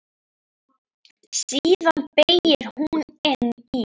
Síðan beygir hún inn í